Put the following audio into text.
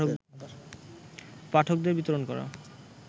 পাঠকদের বিতরণ করা